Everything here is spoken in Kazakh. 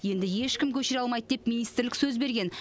енді ешкім көшіре алмайды деп министрлік сөз берген